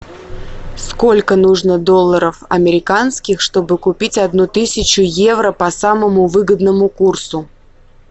сколько нужно долларов американских чтобы купить одну тысячу евро по самому выгодному курсу